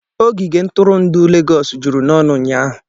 Ogige ntụrụndụ Legọs juru n'ọnụ ụnyahụ.